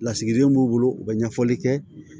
Lasigiden b'u bolo u bɛ ɲɛfɔli kɛ